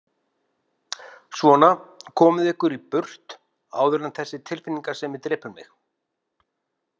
Svona, komið ykkur burt áður en þessi tilfinningasemi drepur mig.